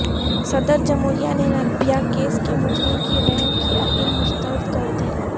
صدر جمھوریہ نے نربھیا کیس کے مجرم کی رحم کی اپیل مسترد کردی